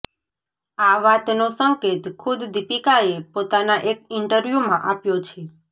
આ વાતનો સંકેત ખુદ દીપિકાએ પોતાના એક ઈન્ટરવ્યૂમાં આપ્યો છે